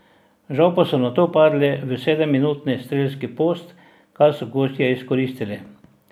Žal pa so nato padli v sedemminutni strelski post, kar so gostje izkoristili.